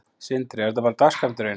Sindri: Er þetta bara dagsskammturinn?